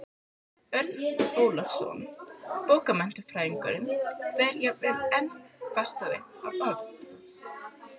Örn Ólafsson bókmenntafræðingur kveður jafnvel enn fastar að orði